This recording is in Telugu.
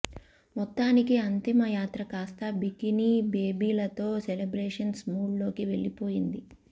మొత్తానికి అంతిమయాత్ర కాస్తా బికినీ బేబీలతో సెలబ్రేషన్స్ మూడ్ లోకి వెళ్లిపోయింది